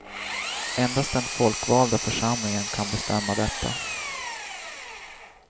Endast den folkvalda församlingen kan bestämma detta.